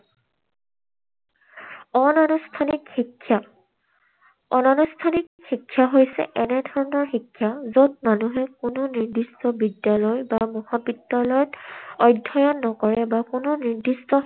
অনানুষ্ঠানিক শিক্ষা। অনানুষ্ঠানিক শিক্ষা হৈছে এনেধৰণৰ শিক্ষা, য'ত মানুহে কোনো নিৰ্দিষ্ট বিদ্যালয় বা মহাবিদ্যালয়ত অধ্যয়ন নকৰে বা কোনো নিৰ্দিষ্ট